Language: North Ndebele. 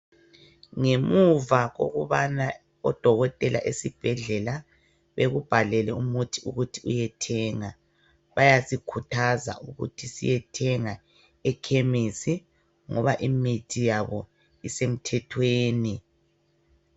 Ngemuva kokubana odokotela esibhedlela bekubhalele umuthi ukuthi uyethenga, bayasikhuthaza ukuthi siyethanga ekhemisi ngoba imithi yabo isemthethweni.